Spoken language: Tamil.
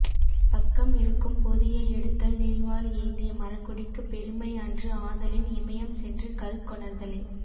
பக்கம் இருக்கும் பொதியை எடுத்தல் நீள்வாள் ஏந்திய மறக்குடிக்குப் பெருமை அன்று ஆதலின் இமயம் சென்று கல் கொணர்தலே